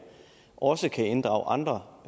også kan inddrage andre